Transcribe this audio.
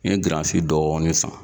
N ye giransi dɔɔni san.